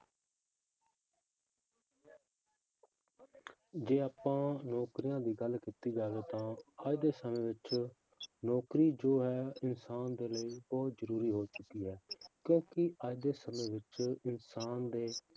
ਜੇ ਆਪਾਂ ਨੌਕਰੀਆਂ ਦੀ ਗੱਲ ਕੀਤੀ ਜਾਵੇ ਤਾਂ ਅੱਜ ਦੇ ਸਮੇਂ ਵਿੱਚ ਨੌਕਰੀ ਜੋ ਹੈ ਇਨਸਾਨ ਦੇ ਲਈ ਬਹੁਤ ਜ਼ਰੂੂਰੀ ਹੋ ਚੁੱਕੀ ਹੈ ਕਿਉਂਕਿ ਅੱਜ ਦੇ ਸਮੇਂ ਵਿੱਚ ਇਨਸਾਨ ਦੇ